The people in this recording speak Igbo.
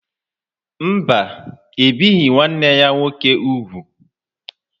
Mba, ebighị nwanne ya nwoke ugwu.